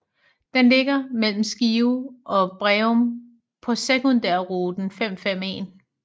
Den ligger mellem Skive og Breum på sekundærrute 551